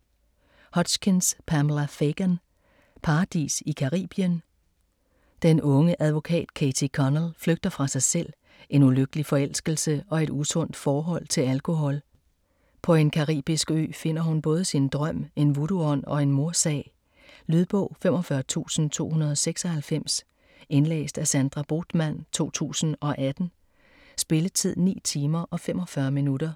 Hutchins, Pamela Fagan: Paradis i Caribien? Den unge advokat, Katie Connell, flygter fra sig selv, en ulykkelig forelskelse og et usundt forhold til alkohol. På en caribisk ø finder hun både sin drøm, en vodoo-ånd og en mordsag. Lydbog 45296 Indlæst af Sandra Bothmann, 2018. Spilletid: 9 timer, 45 minutter.